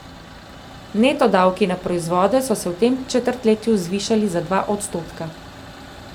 Neto davki na proizvode so se v tem četrtletju zvišali za dva odstotka.